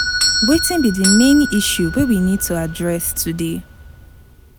Wetin be the main issue wey we need to address today?